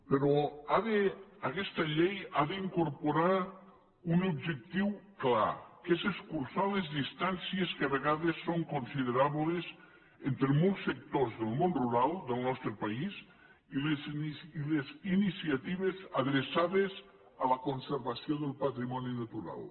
però aguesta llei ha d’incorporar un objectiu clar que és escurçar les distàncies que a vegades són considerables entre molts sectors del món rural del nostre país i les iniciatives adreçades a la conservació del patrimoni natural